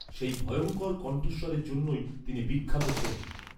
সেই ভয়ঙ্কর কন্ঠস্বরের জন্যই তিনি বিখ্যাত ছিলেন।